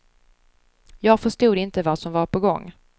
Jag förstod inte vad som var på gång.